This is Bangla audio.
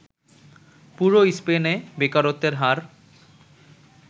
পুরো স্পেনে বেকারত্বের হার